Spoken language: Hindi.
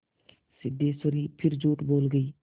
सिद्धेश्वरी फिर झूठ बोल गई